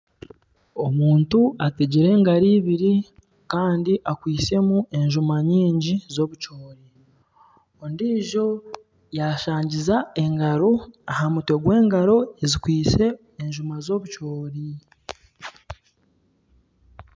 Omuntu ategire engaro ibiri kandi akwitsemu enjuma nyingi z'obukyori, ondiijo yashangiza engaro aha mutwe gw'engaro ezikwitse enjuma z'obukyori.